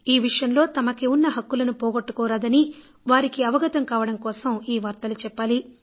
ఈ విషయంలో తమకు ఉన్న హక్కులను పోగొట్టుకోరాదని వారికి అర్థం కావడం కోసం ఈ వార్తలు చెప్పాలి